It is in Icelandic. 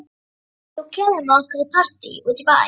Þú kemur með okkur í partí út í bæ.